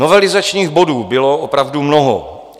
Novelizačních bodů bylo opravdu mnoho.